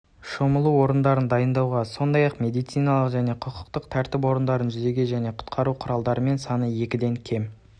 шомылу орындарын дайындауға сондай-ақ медициналық және құқықтық тәртіп орындарын жүзу және құтқару құралдарымен саны екіден кем